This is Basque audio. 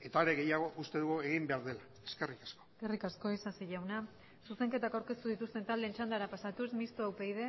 eta are gehiago uste dugu egin behar dela eskerrik asko eskerrik asko isasi jauna zuzenketak aurkeztu dituzten taldeen txandara pasatuz mistoa upyd